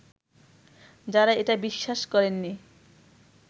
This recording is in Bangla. যারা এটা বিশ্বাস করেননি